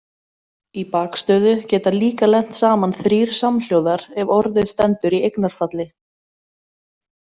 Í bakstöðu geta líka lent saman þrír samhljóðar ef orðið stendur í eignarfalli.